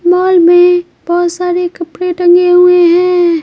Mall में बहुत सारे कपड़े टंगे हुए हैं।